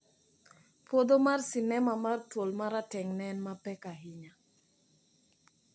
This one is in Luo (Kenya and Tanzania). puodho sinema mar ''thuol marateng`'' neen tem mapek ahinya.